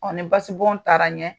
ni basibɔn taara ɲɛ